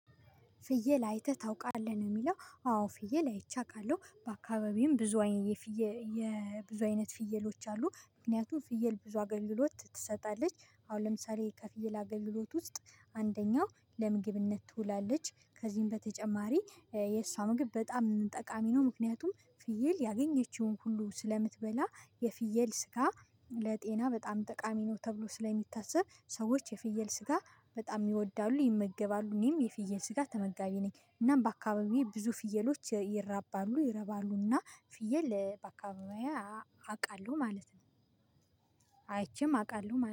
ፍየል አይተህ ታውቃለህ ነው? የሚለው አዎ ፍየል አይቼ አቃለሁ በአካባቢዬም ብዙ አይነት የፍየ አይነት ፍየሎች አሉ። ምክንያቱም ፍየል ብዙ አገልሎት ትሰጣለች አሁን ለምሳሌ ከፍየል አገልሎት ውስጥ አንደኛው ለምግብነት ትውላለች ከዚህም በተጨማሪ የእሷ ምግብ በጣም ጠቃሚ ነው። ምክንያቱም ፍየል ያገኘችውን ሁሉ ስለምትበላ የፍየል ስጋ ለጤና በጣም ጠቃሚ ነው ተብሎ ስለሚታሰብ ሰዎች የፍየል ስጋ በጣም ይወዳሉ ይመገባሉ። እኔም የፍየል ስጋ ተመጋቢ ነኝ እናም በአካባቢዬ ብዙ ፍየሎች ይራባሉ ይረባሉና። ፍየል በአካባቢዬ አቃለሁ ማለት ነው። አይቼም አቃለሁ ማለት